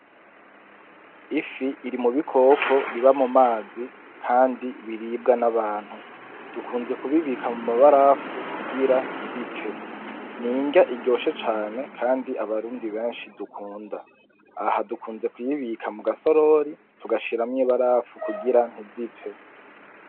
Ifi iri mu bikoko biba mu mazi kandi biribwa n'abantu dukunze kubibika mu mabarafu kugira nti bipfe n'irya iryoshe cane kandi abarundi beshi dukunda aha dukunze kuyibika mu gasorori tugashiramwo ibarafu kugira ntizipfe.